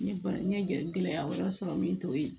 N ye bana n ye gɛlɛya wɛrɛ sɔrɔ min t'o ye